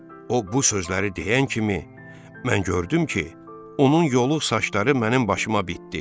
O bu sözləri deyən kimi mən gördüm ki, onun yoluq saçları mənim başıma bitdi.